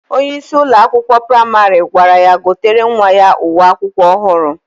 Onye isi Ụlọ akwụkwọ praịmarị gwara ya gotere nwa ya uwe akwụkwọ ohuru.